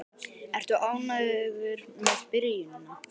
Ertu ánægður með byrjunina?